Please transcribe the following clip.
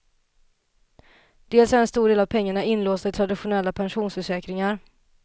Dels är en stor del av pengarna inlåsta i traditionella pensionförsäkringar.